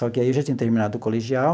Só que aí eu já tinha terminado o colegial.